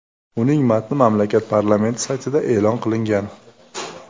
Uning matni mamlakat parlamenti saytida e’lon qilingan .